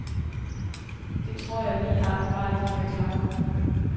Det tror vi lige akkurat de kan klare.